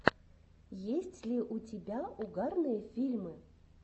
есть ли у тебя угарные фильмы